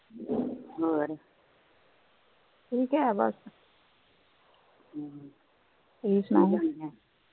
ਤੁਸੀ ਸਣਾਓ